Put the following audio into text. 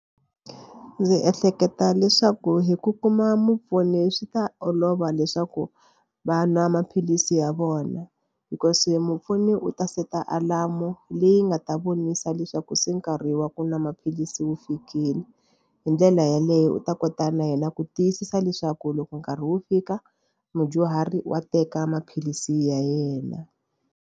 Ndzi ehleketa leswaku hi ku kuma mupfuni swi ta olova leswaku va nwa maphilisi ya vona because mupfuni u ta set-a alamu leyi nga ta vona yisa leswaku se nkarhi wa ku nwa maphilisi wu fikile. Hi ndlela yaleyo u ta kota na yena ku tiyisisa leswaku loko nkarhi wu fika mudyuhari wa teka maphilisi ya yena.